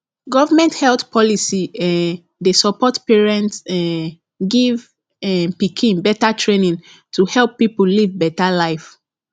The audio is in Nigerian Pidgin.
government health policy um dey support parent um give um pikin better training to help people live better life